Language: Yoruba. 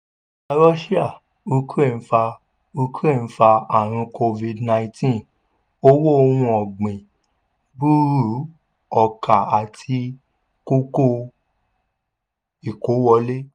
russia- ukraine fa ukraine fa ààrùn covid- nineteen owó ohun ọ̀gbìn burú ọkà àti gógó ìkó wọlé.